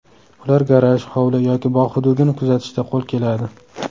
Ular garaj, hovli yoki bog‘ hududini kuzatishda qo‘l keladi.